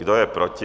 Kdo je proti?